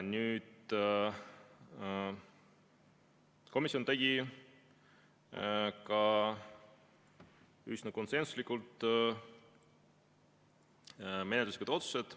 Komisjon tegi ka üsna konsensuslikult menetluslikud otsused.